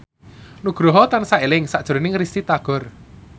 Nugroho tansah eling sakjroning Risty Tagor